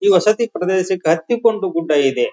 ಈ ವಸತಿ ಪ್ರದೇಶಕ್ಕೆ ಹತ್ತಿ ಕೊಂಡು ಗುಡ್ಡ ಇದೆ.